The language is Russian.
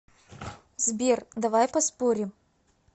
сбер давай поспорим